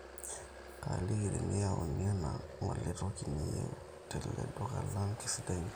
kaaliki teneyauni ena ngole toki niyieu tele duka lang, keisidai ina